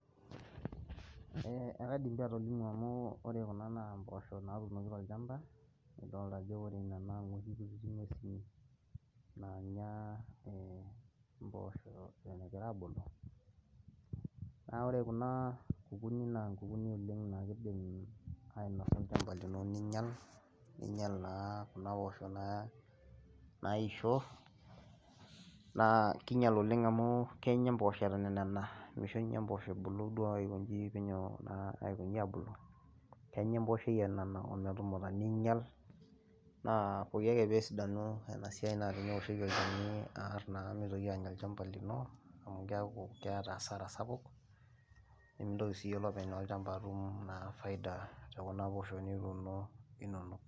Ee ekaidim atolimu amu ore kuna naa impoosho naatunoki tolchamba adolta ajo ore ina naa noshi kuti ngwesi naanya impoosho eton egira aabulu naa ore kuna naa nkukuuni oleng' naa kidim ainosa olchamba lini niinyal ninyal naa kuna poosho naa naisho naa kiinyal amu kenya impoosho eton enana meisho ninye impoosho ebulu aiko inji naa penyo aabulu, kenya empoosho enana ometumuta neinyal naa pooki ake peesidanu naa teneoshieki olchani aar naa meitoki ainyal olchamba lino amu keeku keeta hasara sapuk nemintoki siyie olopeny olchamba atum naa faida sapuk tekuna poosho nituuno inonok.